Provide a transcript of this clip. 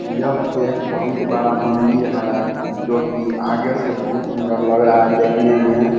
यह एक बहुत बड़ा मंदिर है जो की आगे से बहुत सुन्दर लग रहा है देखने में।